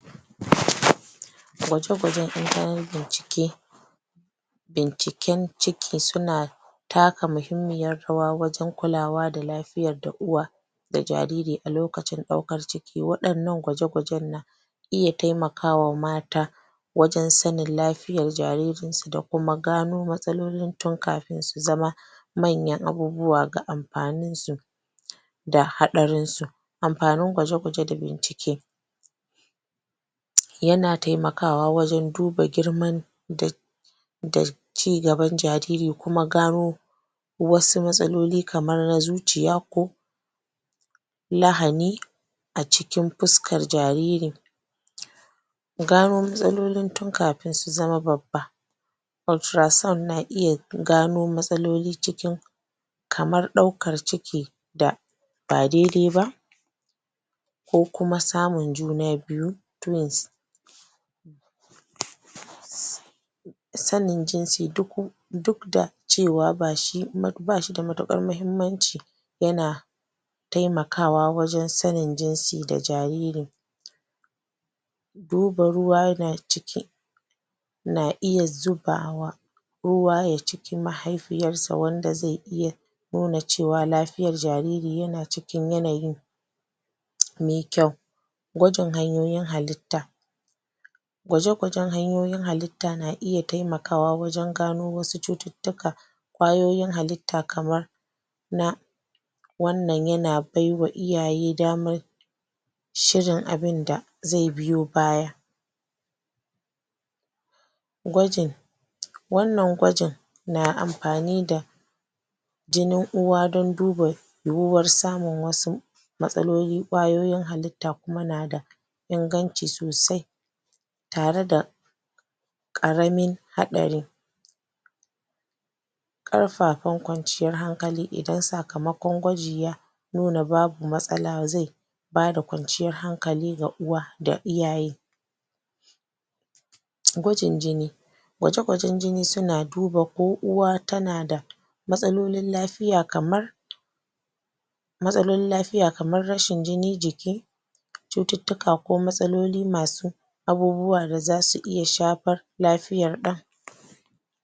Gwaje-gwajen bincike Binciken ciki suna taka muhimmiyar rawa wajen kulawa da lafiyar da uwa da jariri a lokacin ɗaukar ciki. Waɗannan gwaje-gwajen na iya taimaka wa mata wajen sanin lafiyar jaririnsu da kuma gano matsalolin tun kafin su zama manyan abubuwa ga amfaninsu da haɗarinsu. Amfanin gwaje-gwaje da bincike yana taimakawa wajen duba girman da um cigaban jariri kuma gano wasu matsaloli kamar na zuciya ko lahani a cikin fuskar jaririn Gano matsalolin tun kafin su zama babba ultrasound na iya gano matsaloli cikin kamar ɗaukar ciki da ba daidai ba ko kuma samun juna biyu--twins Sanin jinsi--duk da cewa ba shi da matuƙar muhimmanci, yana taimakawa wajen sanin jinsi da jaririn duba ruwa yana ciki na iya zuba wa ruwa cikin mahaifiyarsa wanda zai iya nuna cewa lafiyar jariri yana cikin yanayi mai kyau. Gwajin hanyoyin halitta: gwaje-gwajen hanyoyin halitta na iya taimakawa wajen gano wasu cututtuka, ƙwayoyin halitta kamar na wannan yana bai wa iyaye damar shirin abin da zai biyo baya gwajin wannan gwajin na amfani da jinin uwa don duba yiwuwar samun wasu matsalolin ƙwayoyin halitta kuma na da inganci sosai tare da ƙaramin haɗari ƙarfafan kwanciyar hankali idan sakamakon gwaji ya nuna babu matsala zai ba da kwanciyar hankali ga uwa da iyaye. Gwajin jini: gwaje-gwajen jini suna duba ko uwa tana da matsalolin lafiya kamar matsalolin lafiya kamar rashin jinin jiki cututtuka ko matsaloli masu abubuwa da za su iya shafar lafiya.